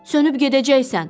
Sönüb gedəcəksən.